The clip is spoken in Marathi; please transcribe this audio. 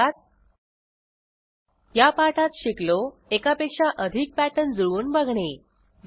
थोडक्यात या पाठात शिकलो एकापेक्षा अधिक पॅटर्न जुळवून बघणे